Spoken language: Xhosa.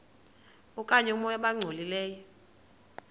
okanye oomoya abangcolileyo